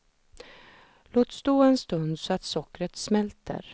Låt stå en stund så att sockret smälter.